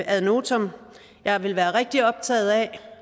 ad notam jeg vil være rigtig optaget af